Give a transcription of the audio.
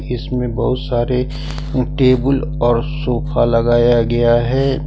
इसमें बहुत सारे टेबल और सोफा लगाया गया है।